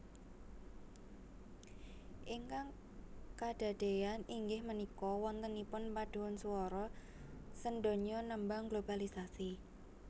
Ingkang kadadean inggih méniko wonténipun paduan suworo séndonyo némbang globalisasi